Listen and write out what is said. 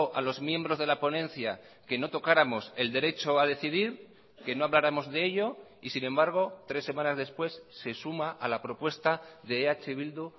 a los miembros de la ponencia que no tocáramos el derecho a decidir que no habláramos de ello y sin embargo tres semanas después se suma a la propuesta de eh bildu